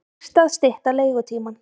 Dýrt að stytta leigutímann